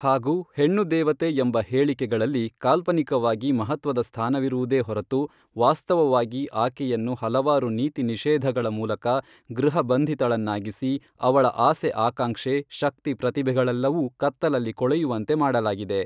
ಹಾಗು ಹೆಣ್ಣು ದೇವತೆ ಎಂಬ ಹೇಳಿಕೆಗಳಲ್ಲಿ ಕಾಲ್ಪನಿಕವಾಗಿ ಮಹತ್ವದ ಸ್ಥಾನವಿರುವುದೇ ಹೊರತು ವಾಸ್ತವವಾಗಿ ಆಕೆಯನ್ನು ಹಲವಾರು ನೀತಿ ನಿಷೇಧಗಳ ಮೂಲಕ ಗೃಹ ಬಂಧಿತಳನ್ನಾಗಿಸಿ ಅವಳ ಆಸೆ ಆಕಾಂಕ್ಷೆ ಶಕ್ತಿ ಪ್ರತಿಭೆಗಳೆಲ್ಲವೂ ಕತ್ತಲಲ್ಲಿ ಕೊಳೆಯುವಂತೆ ಮಾಡಲಾಗಿದೆ.